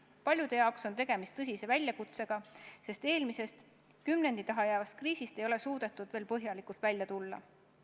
Paljude jaoks on tegemist tõsise väljakutsega, sest eelmisest, kümnendi taha jäävast kriisist ei ole suudetud veel täielikult välja tulla.